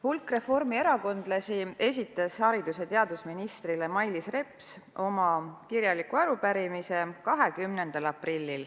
Hulk reformierakondlasi esitas 20. aprillil haridus- ja teadusminister Mailis Repsile kirjaliku arupärimise.